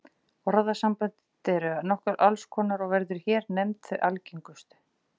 Orðasamböndin eru allnokkur og verða hér nefnd þau algengustu.